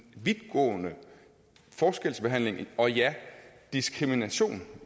vidtgående forskelsbehandling og ja diskrimination